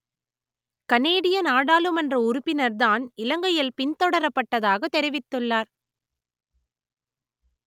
கனேடிய நாடாளுமன்ற உறுப்பினர் தான் இலங்கையில் பின்தொடரப்பட்டதாகத் தெரிவித்துள்ளார்